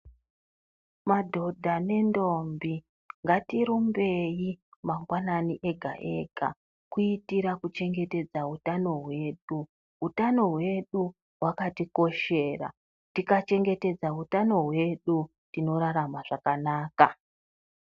Madhodha nendombi ngatirumbei mangwanani ega ega, kuitira kuchengetedza utano hwedu, utano hwedu hwakatikoshera tikachengetedza utano hwedu tinorarama zvakanaka.